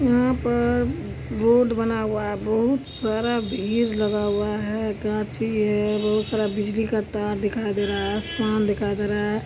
यहाँ पर रोड बना हुआ है बहुत सारा भीड़ लगा हुआ है गाछी है बहुत सारा बिजली का तार दिखाई दे रहा है आसमान दिखाई दे रहा है |